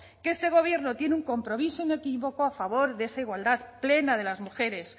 que este gobierno tiene un compromiso inequívoco a favor de esa igualdad plena de las mujeres